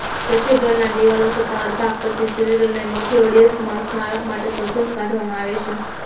કેથીડ્રલના દિવાલો સત્તાવાર ભાગ પછી સિરિલ અને મેથોડિઅસ સ્મારક માટે સરઘસ કરવામાં આવે છે